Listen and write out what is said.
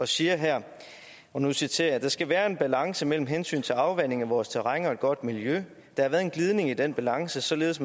siger her og nu citerer jeg der skal være en balance mellem hensyn til afvanding af vores terræn og et godt miljø der har været en glidning i den balance således